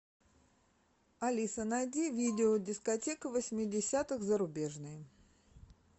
алиса найди видео дискотека восьмидесятых зарубежная